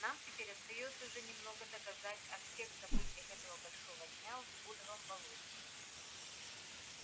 нам теперь остаётся уже немного досказать о всех событиях этого большого дня в блудовом болоте